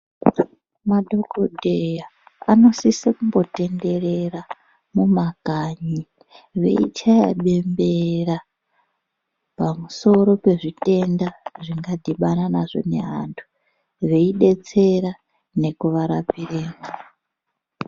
Madhokodheya anosise kumbotenderera mumakanyi veichaya bembera pamisoro pezvitenda zvakadhibana nazvo nevanthu veidetsera nekuvarapiremwo.